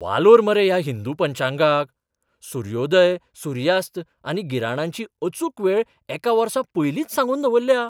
वालोर मरे ह्या हिंदू पंचांगाक. सुर्योदय, सुर्यास्त आनी गिराणांची अचूक वेळ एका वर्सा पयलींच सांगून दवरल्या!